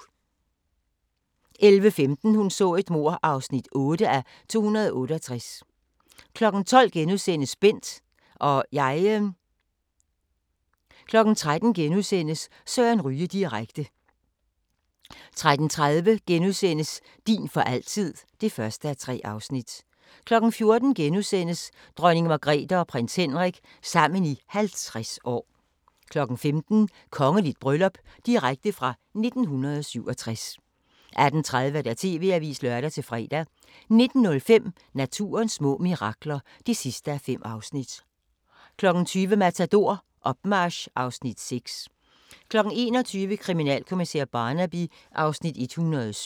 11:15: Hun så et mord (8:268) 12:00: Bent - og jeg * 13:00: Søren Ryge direkte * 13:30: Din for altid (1:3)* 14:00: Dronning Margrethe og prins Henrik – sammen i 50 år * 15:00: Kongeligt bryllup – direkte fra 1967 18:30: TV-avisen (lør-fre) 19:05: Naturens små mirakler (5:5) 20:00: Matador – Opmarch (Afs. 6) 21:00: Kriminalkommissær Barnaby (Afs. 107)